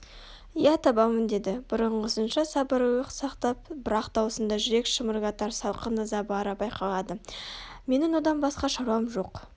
иә табамын деді бұрынғысынша сабырлылық сақтап бірақ даусында жүрек шымырлатар салқын ыза бары байқалады менің одан басқа шаруам жоқ